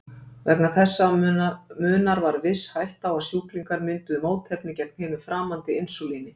Vegna þessa munar var viss hætta á að sjúklingar mynduðu mótefni gegn hinu framandi insúlíni.